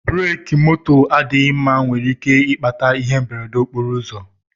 Breki moto adịghị mma nwere ike ikpata ihe mberede nke okporo ụzọ